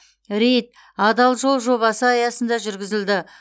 рейд адал жол жобасы аясында жүргізілді